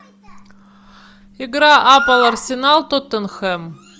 игра апл арсенал тоттенхэм